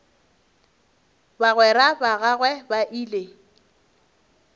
bagwera ba gagwe ba ile